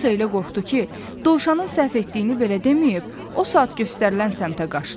Alisa elə qorxdu ki, dovşanın səhv etdiyini belə deməyib, o saat göstərilən səmtə qaçdı.